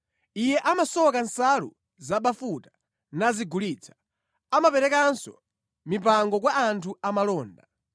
Iye amasoka nsalu zabafuta nazigulitsa; amaperekanso mipango kwa anthu amalonda.